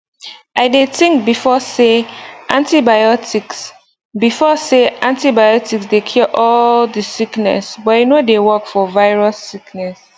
i dey think before say antibiotics before say antibiotics dey cure all the sickness but e no dey work for virus sickness